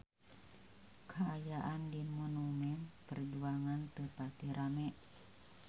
Kaayaan di Monumen Perjuangan teu pati rame